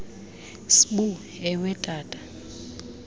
sibu ewe tata